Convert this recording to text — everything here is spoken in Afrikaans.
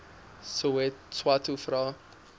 swathe vra